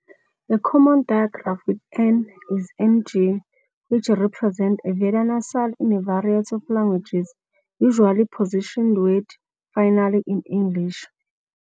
A common digraph with n is ng, which represents a velar nasal in a variety of languages, usually positioned word-finally in English.